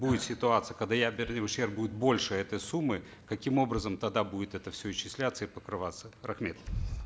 будет ситуация когда ядерный ущерб будет больше этой суммы каким образом тогда будет это все исчисляться и покрываться рахмет